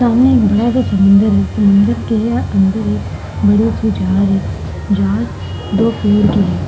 सामने एक बड़ा सा समंदर है समन्दर के अन्दर एक बड़े से जहाज है जहाज दो कलर के है ।